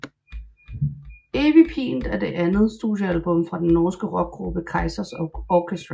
Evig pint er det andet studiealbum fra den norske rockgruppe Kaizers Orchestra